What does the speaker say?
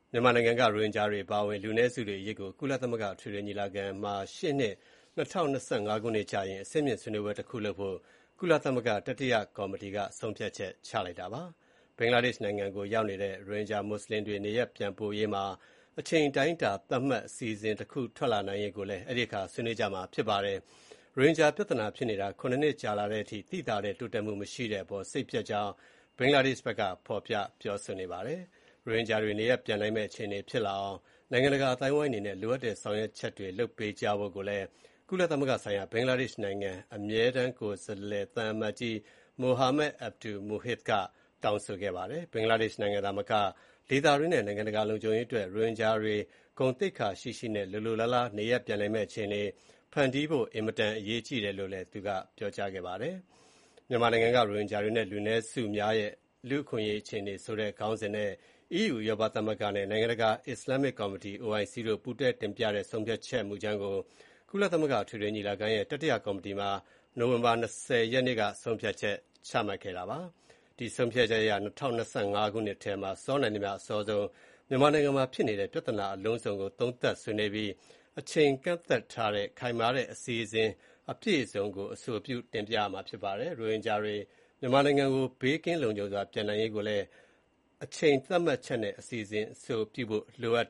မြန်မာနိုင်ငံက ရိုဟင်ဂျာတွေအပါအဝင် လူနည်းစုတွေအရေးကို ကုလသမဂ္ဂအထွေထွေညီလာခံမှာ ရှေ့နှစ် ၂၀၂၅ ခုနှစ်ကျရင် အဆင့်မြင့်ဆွေးနွေးပွဲတခုလုပ်ဖို့ ကုလသမဂ္ဂ တတိတယကော်မတီက ဆုံးဖြတ်ချက်ချလိုက်ပါတယ်။ ဘင်္ဂလားဒေ့ရှ်နိုင်ငံရောက်နေတဲ့ ရိုဟင်ဂျာမွတ်ဆလင်တွေ နေရပ်ပြန်ပို့ရေးမှာ အချိန်အတိုင်းအတာသတ်မှတ် အစီအစဉ်တခုထွက်လာနိုင်ရေးကိုလည်း အဲဒီအခါ ဆွေးနွေးကြမှာဖြစ်ပါတယ်။ ရိုဟင်ဂျာ ပြဿနာဖြစ်နေတာ ၇ နှစ်ကြာလာတဲ့အထိ သိသာတဲ့ တိုးတက်မှုမရှိတဲ့အပေါ် စိတ်ပျက် ကြောင်း ဘင်္ဂလားဒေရှ့်ဘက်က ဖော်ပြပြောဆိုခဲ့ပါတယ်။ ရိုဟင်ဂျာတွေ နေရပ်ပြန်နိုင်မယ့် အခြေအနေ ဖြစ်လာအောင် နိုင်ငံတကာအသိုင်းအဝိုင်းအနေနဲ့ လိုအပ်တဲ့ ဆောင်ရွက်ချက်တွေ လုပ်ပေးကြဖို့လည်း ကုလသမဂ္ဂဆိုင်ရာ ဘင်္ဂလားဒေရှ့်နိုင်ငံအမြဲတမ်းကိုယ်စားလှယ် သံအမတ်ကြီး Muhammad Abdul Muhith ကတောင်းဆိုခဲ့ပါတယ်။ ဘင်္ဂလားဒေ့ရှ်နိုင်ငံသာမက ဒေသတွင်းနဲ့ နိုင်ငံတကာလုံခြုံရေး အတွက် ရိုဟင်ဂျာတွေ ဂုဏ်သိက္ခာရှိရှိနဲ့ လိုလိုလားလား နေရပ်ပြန်နိုင်မယ့်အခြေအနေ ဖန်တီးဖို့ အင်မတန်အရေးကြီးတယ်လို့ သူက ပြောကြားခဲ့ပါတယ်။ မြန်မာနိုင်ငံက ရိုဟင်ဂျာတွေနဲ့ လူနည်းစုများရဲ့ လူ့အခွင့်အရေးအခြေအနေဆိုတဲ့ခေါင်းစဉ်နဲ့ EU ဥရောပသမဂ္ဂနဲ့နိုင်ငံတကာ အစ္စလာမ်မစ်ကော်မတီ OIC တို့ ပူးတွဲတင်ပြတဲ့ ဆုံးဖြတ်ချက်မူကြမ်းကို ကုလသမဂ္ဂအထွေထွေညီလာခံရဲ့ တတိယကော်မတီမှာ နိုဝင်ဘာ ၂၀ ရက်နေ့က ဆုံးဖြတ်ချက်ချခဲ့တာ ဖြစ်ပါတယ်။ ဒီဆုံးဖြတ်ချက်အရ ၂၀၂၅ ခုနှစ်ထဲမှာ စောနိုင်သမျှအစောဆုံး မြန်မာနိုင်ငံမှာဖြစ်နေတဲ့ ပြဿနာ အလုံးစုံကို သုံးသပ်ဆွေးနွေးပြီး အချိန်ကန့်သတ်ချက်ထားတဲ့ ခိုင်မာတဲ့ အစီအစဉ် အပြည့်အစုံကို အဆိုပြုတင်ပြရမှာဖြစ်ပါတယ်။ ရိုဟင်ဂျာတွေ မြန်မာနိုင်ငံကို ဘေးကင်းလုံခြုံစွာ ပြန်နိုင်ရေးကိုလည်း အချိန်သတ်မှတ်ချက်နဲ့ အစီအစဉ် အဆိုပြုဖို့ လိုအပ်